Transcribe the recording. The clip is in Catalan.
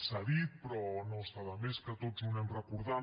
s’ha dit però no està de més que tots ho anem recordant